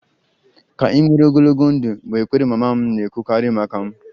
Ka ị nwere ogologo ndụ' bụ ekpere mama m na-ekwukarị maka m